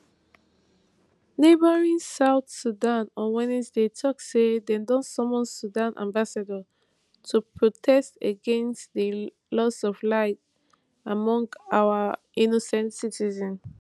neighbouring south sudan on wednesday tok say dem don summon sudan ambassador to protest against di loss of lives among our innocent citizens